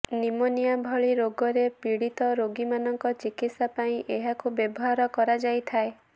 pneumonia ଭଳି ରୋଗରେ ପୀଡ଼ିତ ରୋଗୀମାନଙ୍କ ଚକିତ୍ସା ପାଇଁ ଏହାକୁ ବ୍ୟବହାର କରାଯାଇଥାଏ